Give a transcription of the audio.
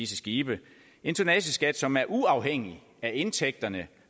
skibe en tonnageskat som er uafhængig af indtægterne